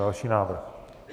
Další návrh.